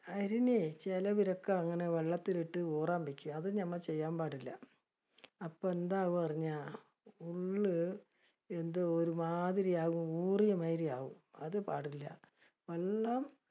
ചെലവര് ഒക്കെ അതിനെ വെള്ളത്തിലിട്ട് ഊറാൻ വെക്കും ഇത് നമ്മ ചെയ്യാൻ പാടില്ല. അപ്പ എന്താവും എന്ന് പറഞ്ഞാ, ഒന്ന് വെന്തു ഒരുമാതിരി ആവും ഊർന്ന് മാതിരി ആവും, അത് പാടില്ല